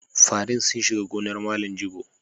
Farin sun shiga gonar Malam Jibo.